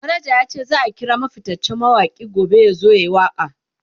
manaja yace zaa kira fittacen mawaki gobe yazo yayi waka